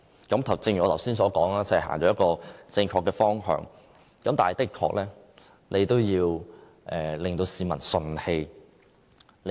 正如我剛才所說，這是朝正確的方向走，但也要令市民順氣。